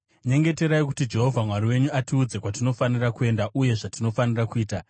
Nyengeterai kuti Jehovha Mwari wenyu atiudze kwatinofanira kuenda uye zvatinofanira kuita.”